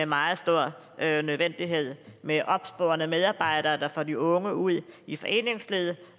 meget stor nødvendighed med opsporende medarbejdere der får de unge ud i foreningslivet